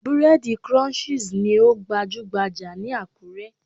Búrẹ́dì Crunchies ni ó gbajúhbajà ní Àkúré.